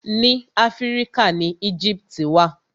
Ni Áfíríkà ni Éjíptì wà.